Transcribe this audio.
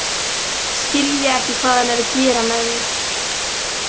Skilja ekki hvað hann er að gera með mér.